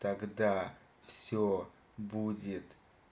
тогда все будет